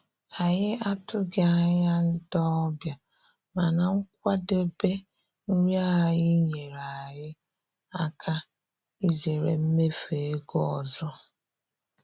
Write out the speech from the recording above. Anyị atụghị anya ndị ọbịa, mana nkwadebe nri anyị nyeere anyị aka izere mmefu ego ọzọ.